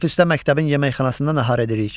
Tənəffüsdə məktəbin yeməkxanasında nahar edirik.